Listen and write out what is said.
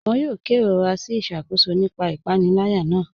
Wọn yòò kẹrọra sí iṣakóṣọ̀ nípa ìpanìlẹ̀yà náà.